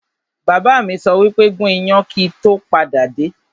Bàbá mi sọ wípé 'gún iyán kíì tó padà dé!